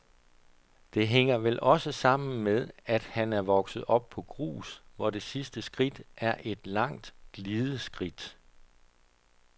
Det hænger vel også sammen med, at han er vokset op på grus, hvor det sidste skridt er et langt glideskridt.